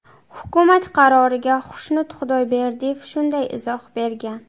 Hukumat qaroriga Xushnud Xudoberdiyev shunday izoh bergan .